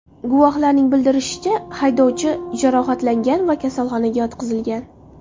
Guvohlarning bildirishicha, haydovchi jarohatlangan va kasalxonaga yotqizilgan.